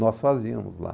Nós fazíamos lá.